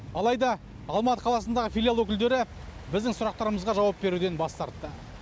алайды алматы қаласындағы филиал өкілдері біздің сұрақтарымызға жауап беруден бас тартты